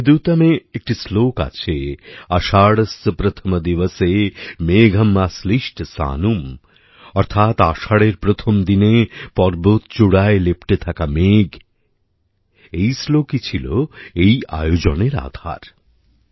মেঘদূতমে একটি শ্লোক আছে আষাঢ়স্য প্রথম দিবসে মেঘম আশ্লীষ্ট সানুম অর্থাৎ আষাঢ়ের প্রথম দিনে পর্বত চূড়ায় লেপ্টে থাকা মেঘ এই শ্লোকই ছিল এই আয়োজনের আধার